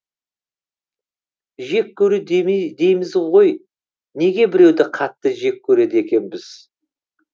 жек көру деймізғой неге біреуді қатты жек көреді екенбіз